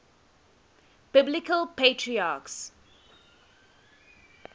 biblical patriarchs